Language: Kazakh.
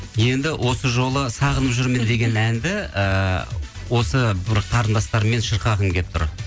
енді осы жолы сағынып жүрмін деген әнді ыыы осы бір қарындастарыммен шырқағым келіп тұр